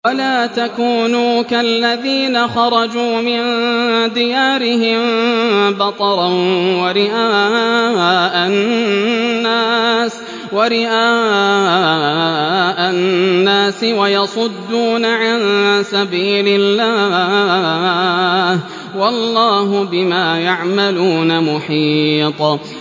وَلَا تَكُونُوا كَالَّذِينَ خَرَجُوا مِن دِيَارِهِم بَطَرًا وَرِئَاءَ النَّاسِ وَيَصُدُّونَ عَن سَبِيلِ اللَّهِ ۚ وَاللَّهُ بِمَا يَعْمَلُونَ مُحِيطٌ